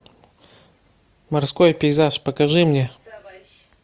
морской пейзаж покажи мне